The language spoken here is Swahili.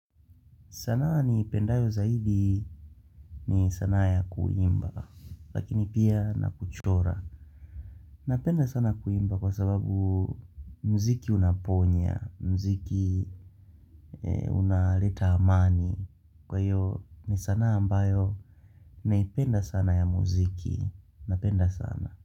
Sana ni pendayo zaidi ni sanaa ya kuimba, lakini pia na kuchora. Napenda sana kuimba kwa sababu mziki unaponya, mziki unaleta amani. Kwa hiyo ni sana ambayo naipenda sana ya mziki. Napenda sana.